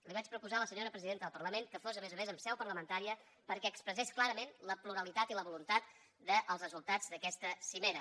li vaig proposar a la senyora presidenta del parlament que fos a més a més en seu parlamentària perquè expressés clarament la pluralitat i la voluntat dels resultats d’aquesta cimera